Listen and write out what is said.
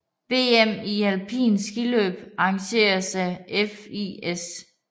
VM i alpint skiløb arrangeret af FIS